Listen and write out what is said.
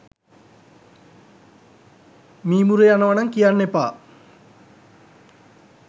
මීමුරේ යනවා නම් කියන්න එපා